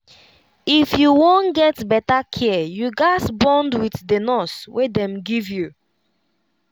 if you wan get better care you gaz bond with the nurse wey dem give you.